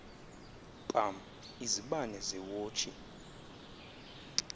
pam izibane zeewotshi